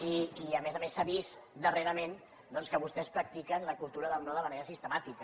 i a més a més s’ha vist darrerament doncs que vostès practiquen la cultura del no de manera sistemàtica